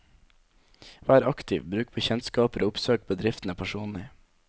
Vær aktiv, bruk bekjentskaper og oppsøk bedriftene personlig.